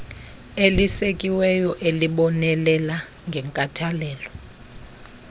elisekiweyo elibonelela ngenkathalelo